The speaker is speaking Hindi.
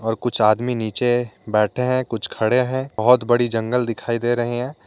और कुछ आदमी नीचे बैठे हैं कुछ खड़े हैं बहुत बड़ी जंगल दिखाई दे रहे हैं।